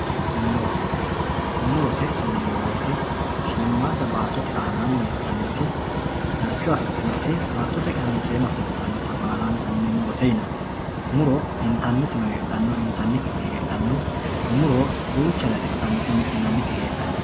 muro murote yineemmo woyiite shiimmaadda baattote aanaanni heedhannoti darcho afidhinoti baattote kaamseenna fultannota baala murote yinanni muro intannitino heedhanno intannikkitino heedhanno muro duuchare assi'nanniti mi'ninanniti heedhanno.